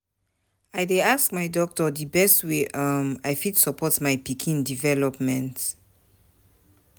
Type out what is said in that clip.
I dey ask my doctor di best way um I fit support my pikin development.